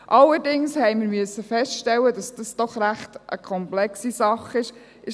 Allerdings mussten wir feststellen, dass dies doch eine ziemlich komplexe Sache ist.